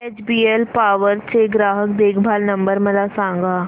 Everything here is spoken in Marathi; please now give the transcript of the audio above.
एचबीएल पॉवर चा ग्राहक देखभाल नंबर मला सांगा